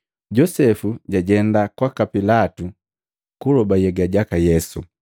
Josepu jajenda kwaka Pilatu, kuloba nhyega jaka Yesu.